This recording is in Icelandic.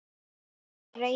Þetta er reiði.